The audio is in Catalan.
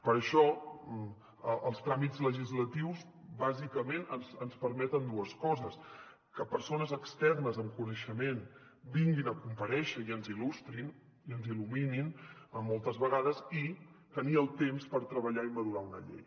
per això els tràmits legislatius bàsicament ens permeten dues coses que persones externes amb coneixement vinguin a comparèixer i ens il·lustrin i ens il·luminin moltes vegades i tenir el temps per treballar i madurar una llei